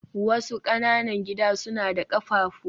wasu ƙananan gida suna da ƙafafu